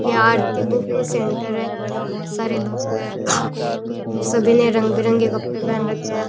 ये Aarti book centre है यहां बहुत सारे लोग हैं सभी ने रंग बिरंगे कपड़े पहन रखे हैं।